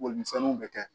Boli misɛnninw bɛ kɛ